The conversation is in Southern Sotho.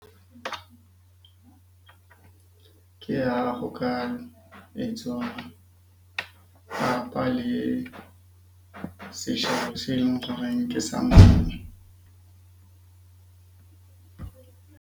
Ke ha ho ka etswa papa le seshabo se nkareng ke sa .